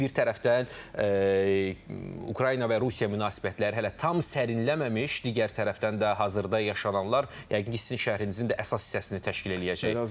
Bir tərəfdən Ukrayna və Rusiya münasibətləri hələ tam sərinləməmiş, digər tərəfdən də hazırda yaşananlar yəqin ki, sizin şərhinizin də əsas hissəsini təşkil eləyəcək.